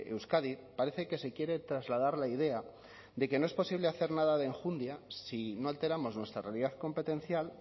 euskadi parece que se quiere trasladar la idea de que no es posible hacer nada de enjundia si no alteramos nuestra realidad competencial